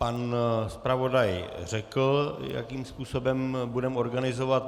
Pan zpravodaj řekl, jakým způsobem budeme organizovat.